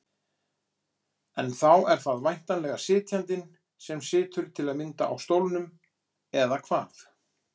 En þá er það væntanlega sitjandinn sem situr til að mynda á stólnum, eða hvað?